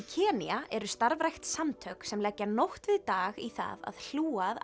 Kenía eru starfrækt samtök sem leggja nótt við dag í það að hlúa að